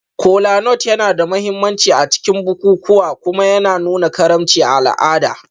Kolanut yana da mahimmanci a cikin bukukuwa kuma yana nuna karimci a al'ada.